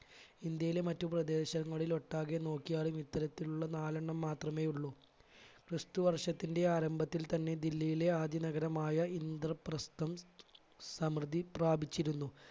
ഇന്ത്യയിലെ മറ്റ് പ്രദേശങ്ങളിൽ ഒട്ടാകെ നോക്കിയാലും ഇത്തരത്തിലുള്ള നാലെണ്ണം മാത്രമേയുള്ളൂ ക്രിസ്തുവർഷത്തിന്റെ ആരംഭത്തിൽ തന്നെ ദില്ലിയിലെ ആദ്യ നഗരമായ ഇന്ദ്രപ്രസ്ഥം സമൃദ്ധി പ്രാപിച്ചിരുന്നു.